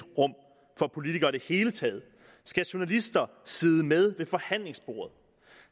rum for politikere i det hele taget skal journalister sidde med ved forhandlingsbordet